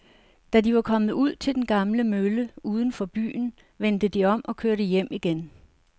Da de var kommet ud til den gamle mølle uden for byen, vendte de om og kørte hjem igen.